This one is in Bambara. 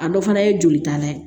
A dɔ fana ye jolita la ye